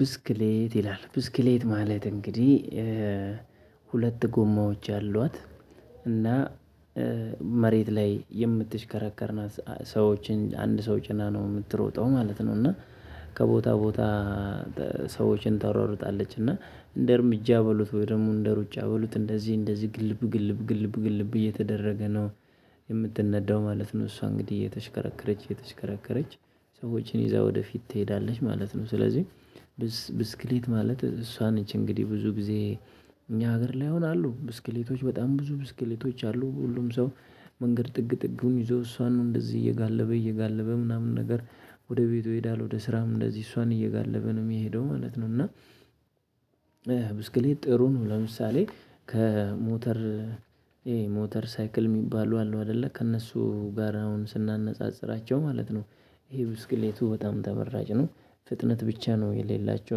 ብስክሌት ይላል ብስክሌት ማለት እንግዲህ ሁለት ጎማዎች ያሏት እና መሬት ላይ የምትሽከራከር ናት ሰዎችን አንድ ሰው ጭና ነው የምትሮጠው ማለት ነው። እና ከቦታ ቦታ ሰዎችን ታሯሩጣለች እና እንደ እርምጃ በሉት ወይ ደግሞ እንደ ሩጫ በሉት እንደዚህ እንደዚህ ግልብ ግልብ ግልብ ግልብ እየተደረገ ነው። የምትነዳው ማለት ነው እሷ እንግዲህ የተሽከረከረች የተሽከረከረች ሰዎችን ይዛ ወደፊት ትሄዳለች ማለት ነው። ስለዚህ ብስክሌት ማለት እሷ ነች እንግዲህ ብዙ ጊዜ እኛ ሀገር ላይ አሁን አሉ ብስክሌቶች በጣም ብዙ ብስክሌቶች አሉ ሁሉም ሰው። መንገድ ጥግ ጥግም ይዞ እሷን እንደዚህ እየጋለበ እየጋለበ ምናምን ነገር ወደ ቤቱ ይሄዳል ወደ ስራም እንደዚህ እሷን እየጋለበ ነው የሚሄደው ማለት ነው። እና ብስክሌት ጥሩ ነው ለምሳሌ ከሞተር ሞተር ሳይክል የሚባሉ አሉ አይደለ ከእነሱ ጋር አሁን ስናነጻጽራቸው ማለት ነው። ይሄ ብስክሌቱ በጣም ተመራጭ ነው። ፍጥነት ብቻ ነው የሌላቸው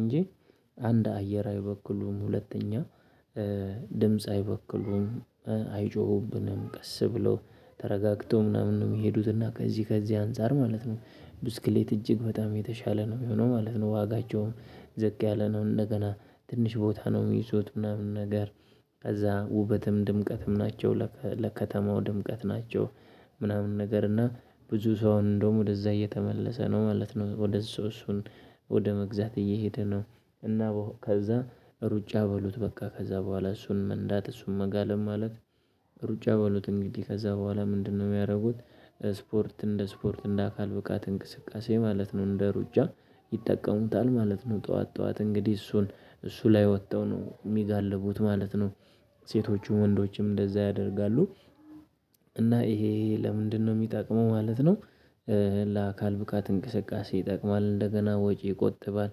እንጂ አንድ አየር አይበክሉም ሁለተኛ። ድምጽ አይበክሉም። አይጮሁብንም ቀስ ብለው ተረጋግተው ምናምን ነው የሚሄዱት እና ከዚህ ከዚህ አንፃር ማለት ነው። ብስክሌት እጅግ በጣም የተሻለ ነው የሚሆነው ማለት ነው። ዋጋቸውም ዘግ ያለ ነው እንደገና ትንሽ ቦታ ነው የሚይዙት ምናምን ነገር። ከዛ ውበትም ድምቀትም ናቸው ለከተማው ድምቀት ናቸው። ምናምን ነገር እና ብዙ ሰው እንደውም ወደዛ እየተመለሰ ነው ማለት ነው። ወደ እሱ እሱን ወደ መግዛት እየሄደ ነው። እና ከዛ ሩጫ በሉት በቃ ከዛ በኋላ እሱን መንዳት እሱን መጋለም ማለት። ሩጫ በሉት እንግዲህ ከዛ በኋላ ምንድነው የሚያደርጉት? ስፖርት እንደ ስፖርት እንደ አካል ብቃት እንቅስቃሴ ማለት ነው። እንደ ሩጫ ይጠቀሙታል ማለት ነው። ጠዋት ጠዋት እንግዲህ እሱን እሱ ላይ ወጥተው ነው የሚጋልቡት ማለት ነው። ሴቶቹ ወንዶችም እንደዛ ያደርጋሉ። እና ይሄ ለምንድነው የሚጠቅመው ማለት ነው? ለአካል ብቃት እንቅስቃሴ ይጠቅማል እንደገና ወጪ ይቆጥባል።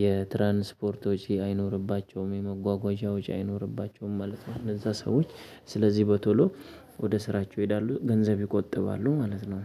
የትራንስፖርት ወጪ አይኖርባቸውም የመጓጓዣ ወጪ አይኖርባቸውም ማለት ነው። እነዛ ሰዎች ስለዚህ በቶሎ ወደ ስራቸው ይሄዳሉ ገንዘብ ይቆጥባሉ ማለት ነው